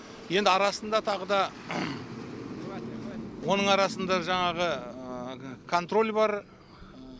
енді арасында тағы да оның арасында жаңағы контроль бар